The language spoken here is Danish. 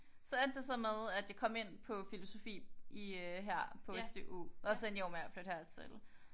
Så endte det så med at jeg kom ind på filosofi i her i på SDU og så endte jeg jo med at flytte hertil